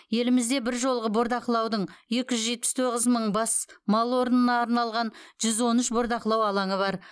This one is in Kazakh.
елімізде бір жолғы бордақылаудың екі жүз жетпіс тоғыз мың бас мал орнына арналған жүз он үш бордақылау алаңы бар